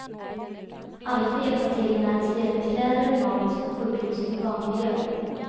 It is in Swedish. Alla får hjälpa till med att dela ut kläder och mat på sjukhus och i barnbyar.